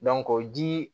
o ji